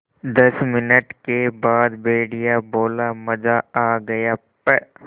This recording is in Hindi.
दस मिनट के बाद भेड़िया बोला मज़ा आ गया प्